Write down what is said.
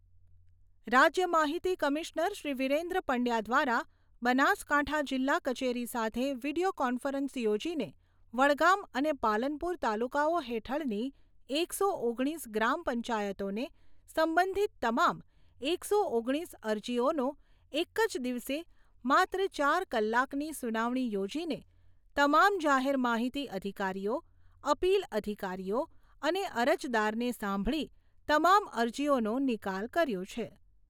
રાજ્ય માહિતી કમિશનર શ્રી વિરેન્દ્ર પંડ્યા દ્વારા બનાસકાંઠા જિલ્લા કચેરી સાથે વિડિયો કોન્ફરન્સ યોજીને વડગામ અને પાલનપુર તાલુકાઓ હેઠળની એકસો ઓગણીસ ગ્રામપંચાયતોને સંબંધિત તમામ એકસો ઓગણીસ અરજીઓનો એક જ દિવસે માત્ર ચાર કલાકની સુનાવણી યોજીને તમામ જાહેર માહિતી અધિકારીઓ, અપીલ અધિકારીઓ અને અરજદારને સાંભળી તમામ અરજીઓનો નિકાલ કર્યો છે.